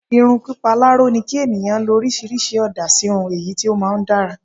irun pipa laro ni ki eniyan lo orisirisi ooda si irun eyi ti o maa n dara